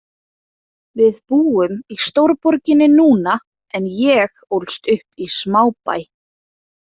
Við búum í stórborginni núna en ég ólst upp í smábæ.